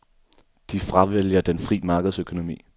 De fravælger den fri markedsøkonomi.